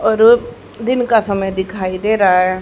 और दिन का समय दिखाई दे रहा है।